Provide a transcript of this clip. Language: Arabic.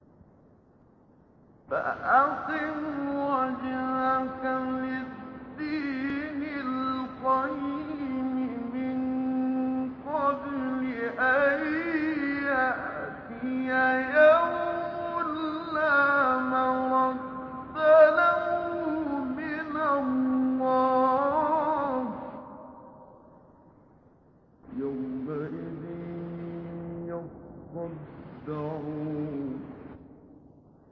فَأَقِمْ وَجْهَكَ لِلدِّينِ الْقَيِّمِ مِن قَبْلِ أَن يَأْتِيَ يَوْمٌ لَّا مَرَدَّ لَهُ مِنَ اللَّهِ ۖ يَوْمَئِذٍ يَصَّدَّعُونَ